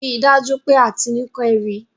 Rí dájú pé Atinúkẹ́ rí!